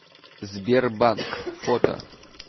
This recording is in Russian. сбер банк фото